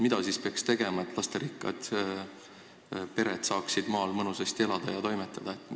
Mida peaks siis tegema, et lasterikkad pered saaksid maal mõnusasti elada ja toimetada?